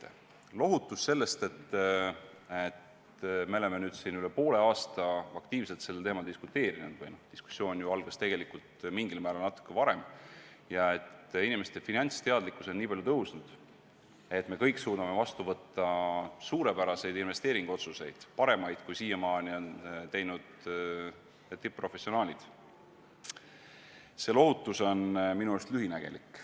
See lohutus, et me oleme üle poole aasta aktiivselt sellel teemal diskuteerinud ja et inimeste finantsteadlikkus on nii palju tõusnud, et me kõik suudame vastu võtta suurepäraseid investeeringuotsuseid, paremaid, kui siiamaani on teinud tipp-professionaalid, on minu arust lühinägelik.